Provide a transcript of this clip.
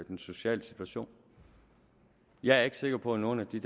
den sociale situation jeg er ikke sikker på at nogen af de